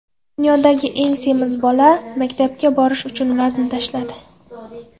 Dunyodagi eng semiz bola maktabga borish uchun vazn tashladi.